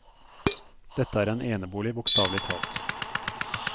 Dette er en enebolig bokstavelig talt.